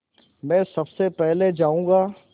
मैं सबसे पहले जाऊँगा